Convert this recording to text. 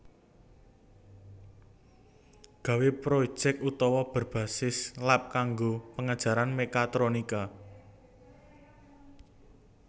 Gawe projek otawa berbasis lab kanggo pengajaran mekatronika